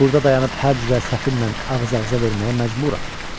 Burda dayanıb hər cürə səfillə ağız-ağıza verməyə məcburam.